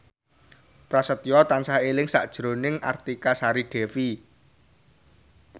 Prasetyo tansah eling sakjroning Artika Sari Devi